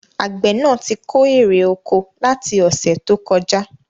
Àgbẹ̀ náà tí kó èrè oko láti ọ̀sẹ̀ tó kọjá